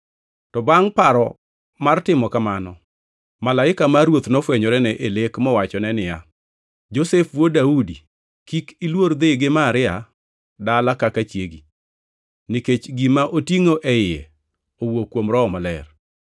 To bangʼ paro mar timo kamano, Malaika mar Ruoth nofwenyorene e lek mowachone niya, “Josef wuod Daudi, kik iluor dhi gi Maria dala kaka chiegi, nikech gima otingʼo e iye owuok kuom Roho Maler.